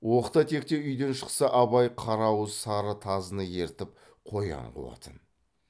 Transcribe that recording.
оқта текте үйден шықса абай қара ауыз сары тазыны ертіп қоян қуатын